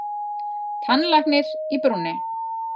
Tannlæknir í brúnni.